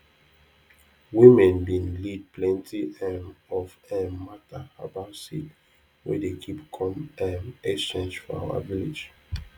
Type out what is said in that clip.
women bin lead plenti um of um matter about seed wey dey keep com um exchange for our village